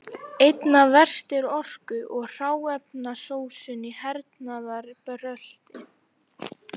Einna verst er orku- og hráefnasóun í hernaðarbrölti.